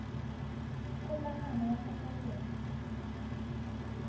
kgokagano ya ka fa teng